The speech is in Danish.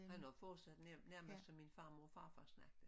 Han har fortsat nærmest som min farmor og farfar snakker